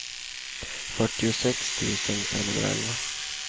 fyrtiosex tusen femhundraelva